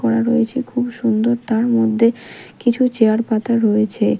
করা রয়েছে খুব সুন্দর তার মধ্যে কিছু চেয়ার পাতা রয়েছে।